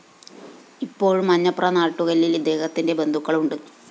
ഇപ്പോഴും മഞ്ഞപ്ര നാട്ടുകല്ലില്‍ ഇദ്ദേഹത്തിന്റെ ബന്ധുക്കള്‍ ഉണ്ട്